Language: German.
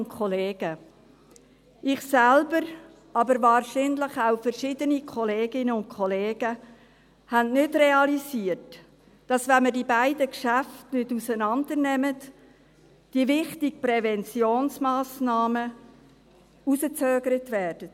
Ich selbst, aber wahrscheinlich auch verschiedene Kolleginnen und Kollegen, haben nicht realisiert, dass wenn wir die beiden Geschäfte nicht auseinandernehmen, die wichtigen Präventionsmassnahmen hinausgezögert werden.